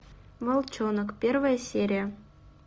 волчонок первая серия